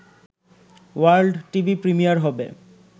world TV premiere হবে